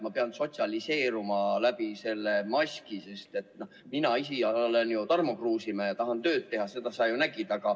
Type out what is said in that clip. Ma pean sotsialiseeruma läbi selle maski, sest mina olen Tarmo Kruusimäe ja tahan tööd teha, seda sa ju nägid.